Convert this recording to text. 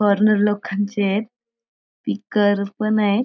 Foreigner लोकांचे हेत. पीकर पण आहेत.